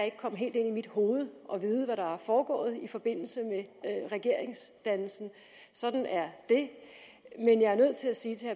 ikke komme helt ind i mit hoved og vide hvad der er foregået i forbindelse med regeringsdannelsen sådan er det men jeg er nødt til at sige til